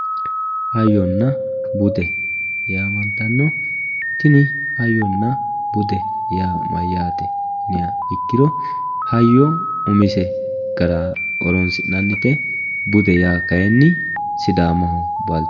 Hayyonna bude yaamantano tinni hayyonna bude yaa mayate yinniha ikkiro hayyo umise gara horonsi'nannite bude yaa kayinni sidaamaho balcho